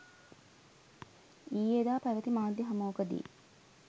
ඊයේදා පැවැති මාධ්‍ය හමුවකදී